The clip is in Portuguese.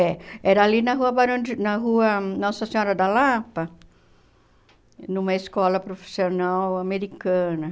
É. Era ali na rua Barão de na rua Nossa Senhora da Lapa, numa escola profissional americana.